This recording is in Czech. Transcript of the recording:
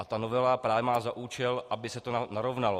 A ta novela má právě za účel, aby se to narovnalo.